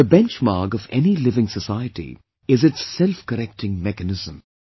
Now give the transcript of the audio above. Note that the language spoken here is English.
The benchmark of any living society is its self correcting mechanism